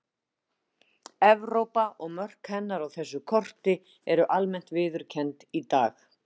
Evrópa og mörk hennar á þessu korti eru almennt viðurkennd í dag.